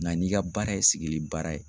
Nga n'i ka baara ye sigili baara ye